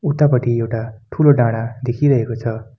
उतापटि एउटा ठूलो डाँडा देखिरहेको छ।